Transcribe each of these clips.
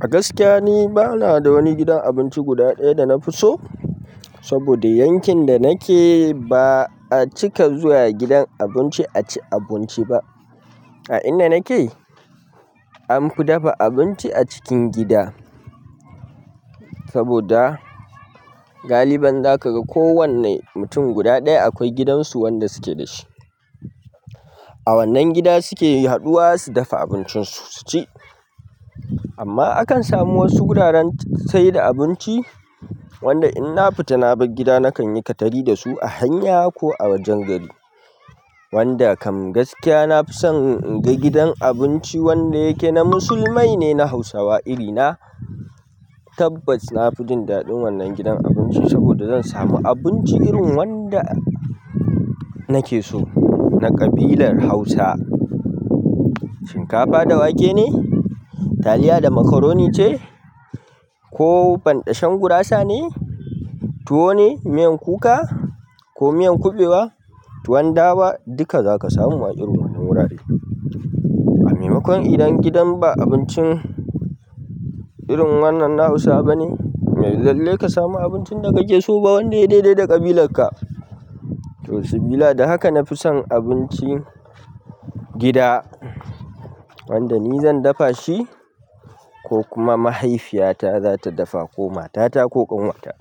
A gaskiya ni bana da wani gidan abinci guda ɗaya da na fi so, saboda yankin da nake ba a cika zuwa gidan abinci a ci abinci ba. A inda nake, an fi dafa abinci a cikin gida, saboda galiban za ka ga kowane mutum guda ɗaya akwai gidansu wanda suke da shi. A wannan gida suke haɗuwa su dafa abincinsu su ci. Amma akan samu wasu wuraren sayar da abinci, wanda in na fita na bar gida nakan yi katari da su a hanya ko a wajen gari. Wanda kam gaskiya na fi son in je gidan abinci wanda yake na musulmai na Hausawa iri na. Tabbas na fi jin daɗin wannan gidan abinci saboda zan samu abinci irin wanda nake so na ƙabilar Hausa. Shinkafa da wake ne, taliya da macaroni ce. Ko banɗashen gurasa ne, tuwo ne miyan kuka ko miyan kuɓewa, tuwon dawa, duka za ka samu a irin wannan wurare. Maimakon idan gidan ba abincin irin wannan na Hausawa ba ne, ba lallai ka samu abincin da kake so ba wanda ya yi daidai da ƙabilar ka. To sibila, da haka na fi son abinci gida wanda ni zan dafa shi. Ko kuma mahaifiyata za ta dafa ko matata ko ƙanwata.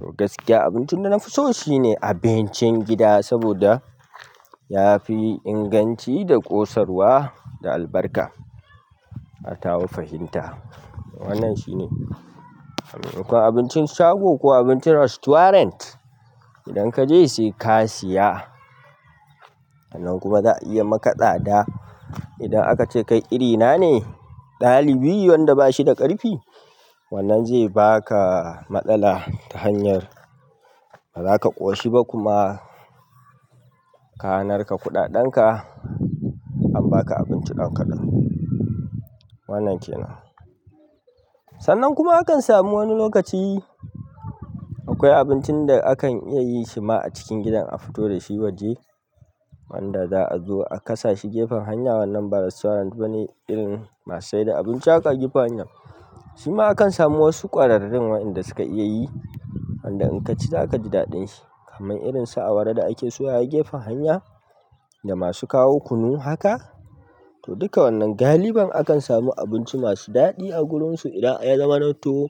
To gaskiya abincin da na fi so shine abincin gida saboda ya fi inganci da ƙosarwa da albarka. A tawa fahimta. Wannan shine. A maimakon abincin shago ko abincin restaurant, idan ka je sai ka siya. Sannan kuma za a iya maka tsada. Idan aka ce kai irina ne, ɗalibi wanda ba shi da ƙarfi, wannan zai ba ka matsala ta hanyar. Bazaka ƙoshi ba kuma ka narka kuɗaɗen ka, an baka abinci ɗan kaɗan. Wannan kenan. Sannan kuma akan samu wani lokaci akwai abincin da akan iya yin shi ma a cikin gidan a fito da shi waje wanda za a zo a kasa shi gefen hanya. Wannan ba restaurant bane, irin masu sayar da abinci aƙa gefen hanya. Shi ma akan samu wasu ƙwararrun waɗanda suka iya yi, wanda in ka ci za ka ji daɗin shi kamar irinsa awara da ake soyawa gefen hanya. Da masu kawo kunu haka. To duka wannan galibin akan samu abinci masu daɗi a wurinsu idan ya zaman to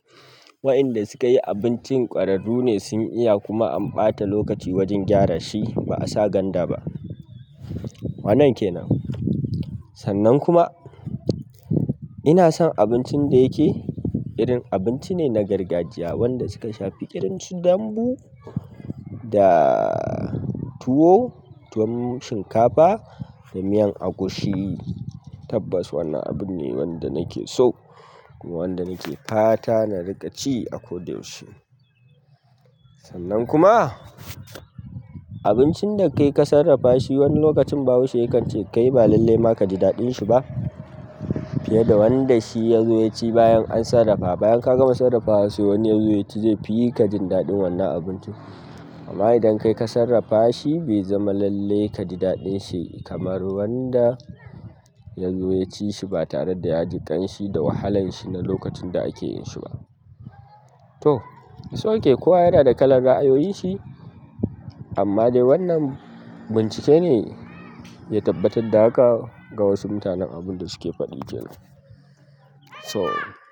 waɗanda sukayi abincin ƙwararru ne sun iya kuma an ɓata lokaci wajen gyara shi ba a sa ganda ba. Wannan kenan. Sannan kuma ina son abincin da yake. Irin abinci ne na gargajiya, wanda suka shafi irinsu dambu da. Tuwo, tuwon shinkafa da miyan agushi, tabbas wannan abu ne wanda nake so, kuma wanda nake fata na riƙa ci a ko da yaushe. Sannan kuma. Abincin da kai ka sarrafa shi wani lokacin bahaushe yakan ce kai ba lalle ma ka ji daɗin shi ba. Ta yadda wanda shi ya zo ya ci bayan an sarrafa. Bayan ka gama sarrafawa sai wani ya zo ya ci zai fi ka jin daɗin wannan abincin. Amma idan kai ka sarrafa shi bai zama lalle ka ji daɗin shi kamar wanda ya zo ya ci shi ba tare da ya ji ƙanshi da wahalanshi na lokacin da ake yin shi ba. To, is ok, kowa yana da kalan ra'ayoyinshi, amma dai wannan bincike ne. Ya tabbatar da haka ga wasu mutanen abun da suke faɗi kenan. So.